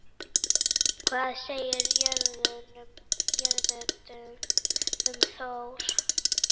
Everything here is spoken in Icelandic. Hvað segir Jörundur um Þór?